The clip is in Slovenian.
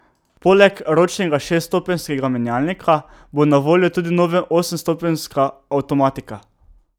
Poleg ročnega šeststopenjskega menjalnika bo na voljo tudi nova osemstopenjska avtomatika.